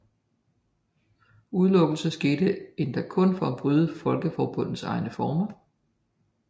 Udelukkelsen skete endda kun ved at bryde Folkeforbundets egne former